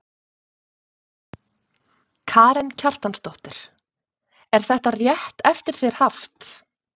Karen Kjartansdóttir: Er þetta rétt eftir þér haft?